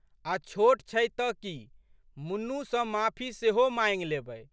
आ छोट छै तऽ की मुन्नू सँ माफी सेहो माँगि लेबै।